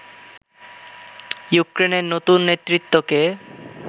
ইউক্রেনের নতুন নেতৃত্বকে